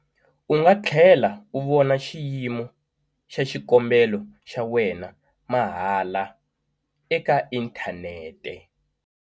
U nga tlhela u vona xiyimo xa xikombelo xa wena mahala eka inthanete.